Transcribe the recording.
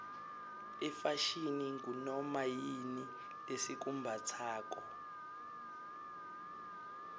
ifashini ngunoma yini lesikumbatsako